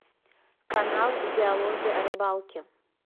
канал диалоги о рыбалке